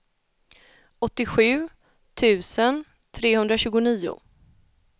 åttiosju tusen trehundratjugonio